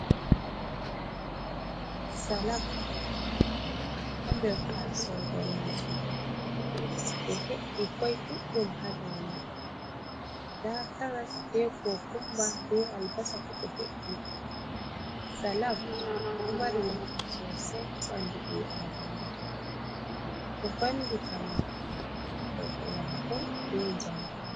Salak ha nder tasowo daneejum, ɓe he'i kwai ɗuɗɗum ha dou mai, nda karas be kokumba be albasa fuu ɓe he'i. Salak ɗo mari naafu sosai ha ɓandu ɓii adamajo, ɗo vallitamo terɗe maako be jamu.